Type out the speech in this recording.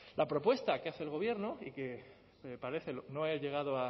la propuesta que hace el gobierno y que me parece no he llegado